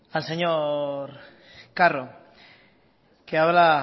al señor carro que habla